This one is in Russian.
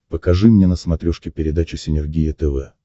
покажи мне на смотрешке передачу синергия тв